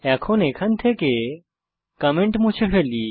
এখন এখান থেকে কমেন্ট মুছে ফেলি